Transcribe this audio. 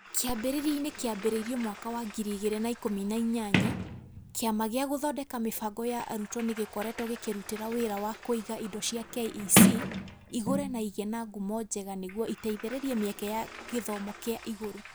Kĩambĩrĩriainĩ kĩambĩrĩirio mwaka wa ngiri igĩrĩ na ikũmi na inyanya, Kĩama gĩa Gũthondeka Mĩbango ya Arutwo nĩ gĩkoretwog ĩkĩrutĩra wĩra wa kũiga indo cia KEC igũre na igĩe na ngumo njega nĩguo ĩteithĩrĩrie mĩeke ya gĩthomo kĩa igũrũ.